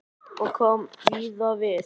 Og kom víða við.